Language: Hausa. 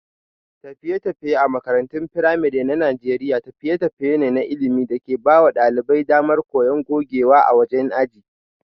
Tafiye-tafiye a makarantun firamare na Najeriya tafiye-tafiye ne na ilimi da ke ba wa ɗalibai damar koyon gogewa a wajen aji.